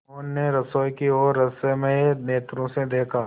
मोहन ने रसोई की ओर रहस्यमय नेत्रों से देखा